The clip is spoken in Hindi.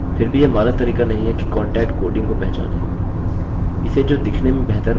फिर भीयह मानक तरीका नहीं है कि कोन्टक्ट कोडिंग को पहचाने